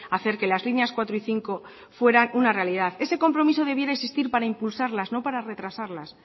hacer que las líneas cuatro y cinco fuera una realidad ese compromiso debiera existir para impulsarlas no para retrasarlas